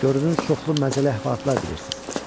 Görünür çoxlu məzəli əhvalatlar bilirsiz.